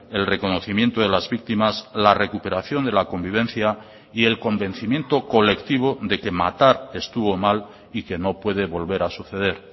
el reconocimiento de las víctimas la recuperación de la convivencia y el convencimiento colectivo de que matar estuvo mal y que no puede volver a suceder